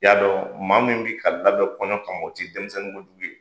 Y'a dɔn maa min bɛ ka labɛn kɔɲɔ kama, o tɛ denmisɛnnin kojugu ye,